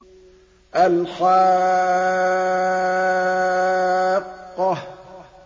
الْحَاقَّةُ